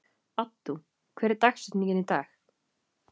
Addú, hver er dagsetningin í dag?